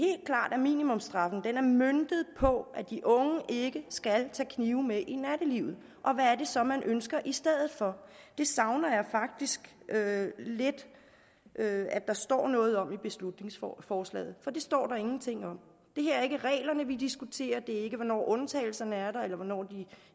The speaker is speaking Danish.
at minimumsstraffen er møntet på at de unge ikke skal tage knive med i nattelivet og hvad er det så man ønsker i stedet for det savner jeg faktisk lidt at der står noget om i beslutningsforslaget for det står der ingenting om det er ikke reglerne vi diskuterer det er ikke hvornår undtagelserne er der eller hvornår de